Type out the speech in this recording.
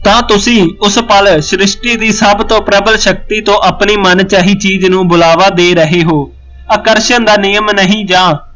ਤਾਂ ਤੁਸੀਂ ਉਸ ਪਲ ਸ੍ਰਿਸ਼ਠੀ ਦੀ ਸਭ ਤੋ ਪ੍ਰਬਲ ਸ਼ਕਤੀ ਤੋ ਆਪਣੀ ਮਨਚਾਹੀ ਚੀਜ਼ ਨੂੰ ਬੁਲਾਵਾ ਦੇ ਰਹੇ ਹੋ ਆਕਰਸ਼ਣ ਦਾ ਨਿਯਮ ਨਹੀਂ ਜਾਂ